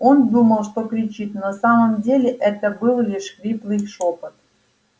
он думал что кричит но на самом деле это был лишь хриплый шёпот